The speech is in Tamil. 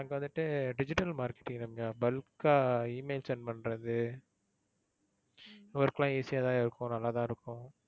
அங்க வந்துட்டு digital marketing ரம்யா. bulk ஆ email send பண்றது ஹம் work லாம் easy ஆ தான் இருக்கும் நல்லா தான் இருக்கும்.